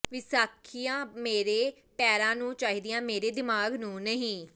ਵਿਸਾਖੀਆਂ ਮੇਰੇ ਪੈਰਾਂ ਨੂੰ ਚਾਹੀਦੀਆਂ ਮੇਰੇ ਦਿਮਾਗ ਨੂੰ ਨਹੀਂ